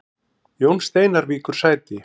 Jón Steinar víkur sæti